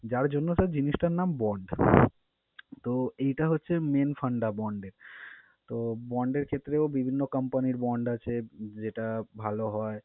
যার জন্য sir জিনিসটার নাম bond । তো এইটা হচ্ছে main fanda bond এর। তো bond এর ক্ষেত্রেও বিভিন্ন company র bond আছে যেটা ভালো হয়